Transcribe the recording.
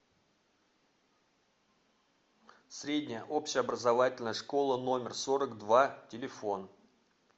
средняя общеобразовательная школа номер сорок два телефон